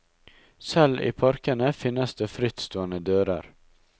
Selv i parkene finnes det frittstående dører.